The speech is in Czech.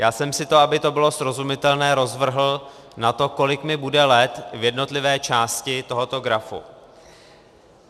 Já jsem si to, aby to bylo srozumitelné, rozvrhl na to, kolik mi bude let v jednotlivé části tohoto grafu.